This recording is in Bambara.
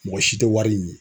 Mɔgɔ si tɛ wari ɲini.